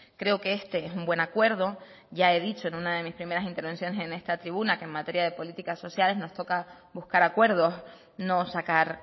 creo que este es un buen acuerdo ya he dicho en una de mis primeras intervenciones en esta tribuna que en materia de políticas sociales nos toca buscar acuerdos no sacar